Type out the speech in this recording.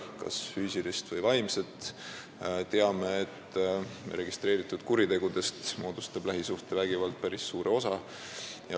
Teame ka, et lähisuhtevägivald moodustab registreeritud kuritegudest päris suure osa.